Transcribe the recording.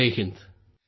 Jai Hind